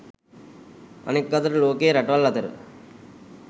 අනෙක් අතට ලෝකයේ රටවල් අතර